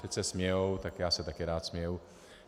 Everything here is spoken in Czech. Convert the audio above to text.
Teď se smějou, tak já se také rád směju.